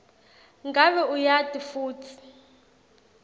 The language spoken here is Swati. ngabe uyati futsi